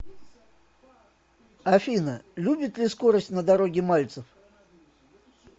афина любит ли скорость на дороге мальцев